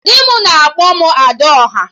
Di m ga na-akpọ m 'Ada ọha'